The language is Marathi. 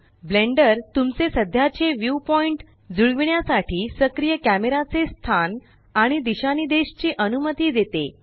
ब्लेंडर तुमचे सध्याचे व्यू पॉइण्ट जुळविण्यासाठी सक्रिय कॅमेराचे स्थान आणि दिशानिदेश ची अनुमती देते